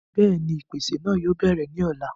bẹ́ẹ̀ni, ìpèsè náà yóò bẹ̀rẹ̀ ní ọ̀la